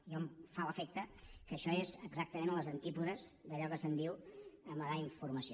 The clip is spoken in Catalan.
a mi em fa l’efecte que això és exactament als antípodes d’allò que se’n diu amagar informació